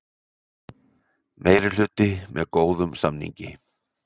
Meirihluti með góðum samningi